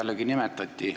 Minu nime nimetati.